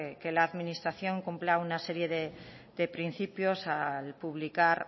que la administración cumpla una serie de principios al publicar